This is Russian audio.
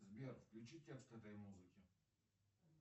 сбер включи текст этой музыки